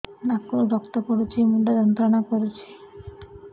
ନାକ ରୁ ରକ୍ତ ପଡ଼ୁଛି ମୁଣ୍ଡ ଯନ୍ତ୍ରଣା କରୁଛି